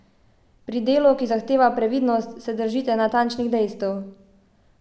Pri delu, ki zahteva previdnost, se držite natančnih dejstev.